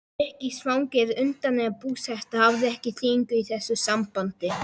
Ríkisfang eða undanfarandi búseta hafa ekki þýðingu í þessu sambandi.